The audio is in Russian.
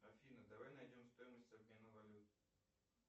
афина давай найдем стоимость обмена валюты